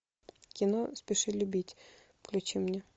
кино спеши любить включи мне